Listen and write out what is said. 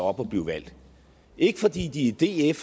og blive valgt ikke fordi de er